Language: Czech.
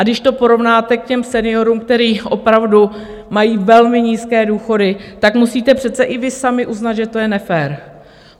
A když to porovnáte k těm seniorům, kteří opravdu mají velmi nízké důchody, tak musíte přece i vy sami uznat, že to je nefér.